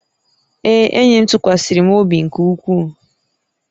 Ee, enyi m tụkwasịrị m obi nke ukwuu